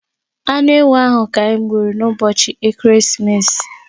Anụ ewu ahụ ka anyị gburu n'ụbọchị ekeresimesi.